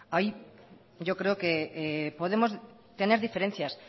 ahí yo creo que podemos tener diferencias